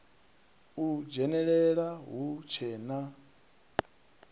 u dzhenelela hu tshe na